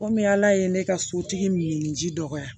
Komi ala ye ne ka sotigi min ye ji dɔgɔya